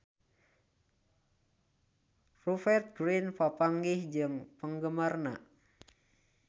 Rupert Grin papanggih jeung penggemarna